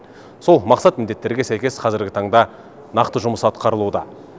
сол мақсат міндеттерге сәйкес қазіргі таңда нақты жұмыс атқарылуда